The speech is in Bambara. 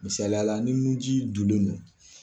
Misaliyala ni nunji dunnen don.